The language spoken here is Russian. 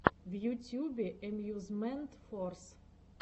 в ютюбе эмьюзмент форс